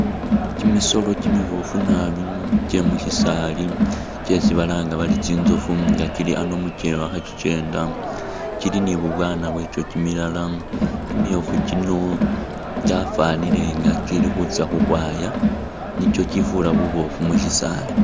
Kyimisolo kyimiboofu nabi kye mu shisaali kyesi balanga bari tsitsofu nga kyili ano mukyewa khe kyikyenda kyili ni bubwaana bwakyo kyimilala kyimiyofu kyino kyafanile nga kyili khutsa ukhwaya ela nikyo kyifura buboofu mu shisaali .